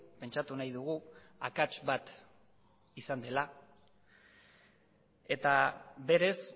pentsatu nahi dugu akats bat izan dela eta berez